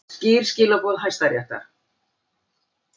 Skýr skilaboð Hæstaréttar